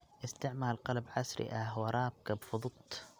Isticmaal qalab casri ah waraabka fudud.